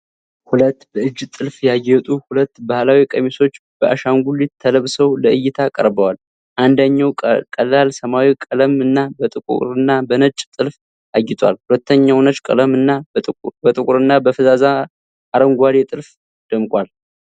ሁለት በእጅ ጥልፍ ያጌጡ ሁለት ባህላዊ ቀሚሶች በአሻንጉሊት ተለብሰው ለእይታ ቀርበዋል። አንደኛው ቀላል ሰማያዊ ቀለም እና በጥቁርና በነጭ ጥልፍ አጊጧል፣ ሁለተኛው ነጭ ቀለም እና በጥቁርና በፈዛዛ አረንጓዴ ጥልፍ ደምቋል።